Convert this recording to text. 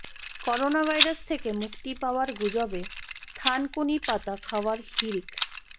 coronavirus থেকে মুক্তি পাওয়ার গুজবে থানকুনি পাতা খাওয়ার হিড়িক